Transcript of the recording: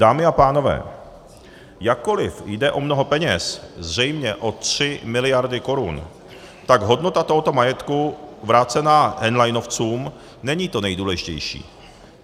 Dámy a pánové, jakkoliv jde o mnoho peněz, zřejmě o tři miliardy korun, tak hodnota tohoto majetku vrácená henleinovcům není to nejdůležitější.